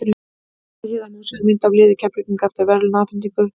Hér til hliðar má sjá mynd af liði Keflvíkinga eftir verðlaunaafhendingu.